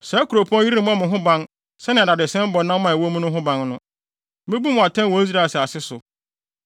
Saa kuropɔn yi remmɔ mo ho ban sɛnea dadesɛn bɔ nam a ɛwɔ mu no ho ban no; Mebu mo atɛn wɔ Israel asase so.